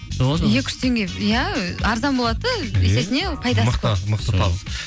екі жүз теңге иә арзан болады да есесіне мықты табыс